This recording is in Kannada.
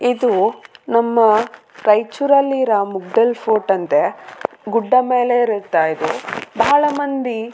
ಇದು ನಮ್ಮ ರಾಯಚೂರ್ ಅಲ್ಲಿ ರ ಮುಗ್ದಲ್ಲ್ ಫೋರ್ಟ್ ಅಂತೆ ಗುಡ್ಡ ಮೇಲಿರುತ್ತ ಇದು ಬಹಳ ಮಂದಿ.